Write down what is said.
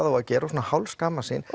á að gera og hálf skammast sín